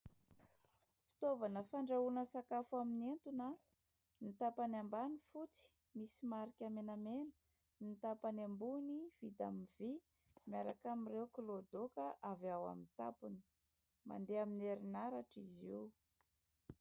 Fitaovana fandrahoina sakafo amin'ny entona. Ny tapany ambany fotsy, misy marika menamena, ny tapany ambony vita amin'ny vy miaraka amin'ireo kiloadoaka avy ao amin'ny tampony. Mandeha amin'ny herinaratra izy io.